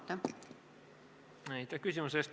Aitäh küsimuse eest!